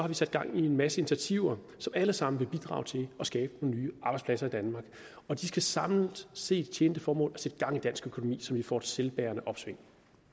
vi sat gang i en masse initiativer som alle sammen vil bidrage til at skabe nye arbejdspladser i danmark og de skal samlet set tjene det formål at sætte gang i dansk økonomi så vi får et selvbærende opsving